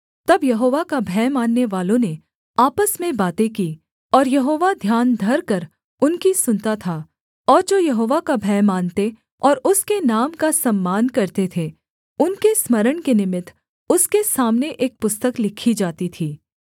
तब यहोवा का भय माननेवालों ने आपस में बातें की और यहोवा ध्यान धरकर उनकी सुनता था और जो यहोवा का भय मानते और उसके नाम का सम्मान करते थे उनके स्मरण के निमित्त उसके सामने एक पुस्तक लिखी जाती थी